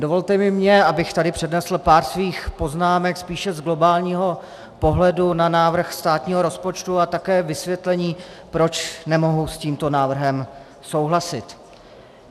Dovolte i mně, abych tady přednesl pár svých poznámek spíše z globálního pohledu na návrh státního rozpočtu a také vysvětlení, proč nemohu s tímto návrhem souhlasit.